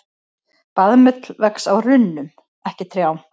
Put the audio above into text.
Baðmull vex á runnum, ekki trjám.